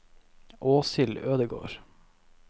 Åshild Ødegård